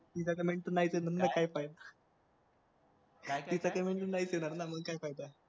तिच्या comment तर नाहीच येणार ना मग काय फाय तिच्या comment तर नाहीच येणार ना मग काय फायदा